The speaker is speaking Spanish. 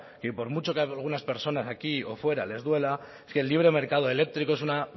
que por mucho que algunas personas aquí o fuera les duela es que el libre mercado eléctrico es una